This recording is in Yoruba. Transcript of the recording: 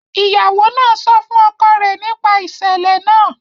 Ìyàwó náà sọ fún ọkọ rẹ nípa ìṣẹ̀lẹ̀ náà